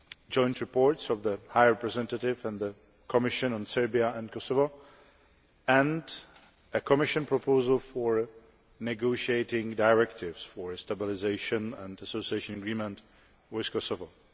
joint reports of the High Representative and the Commission on Serbia and Kosovo, and a Commission proposal for negotiating directives for a Stabilisation and Association Agreement with Kosovo.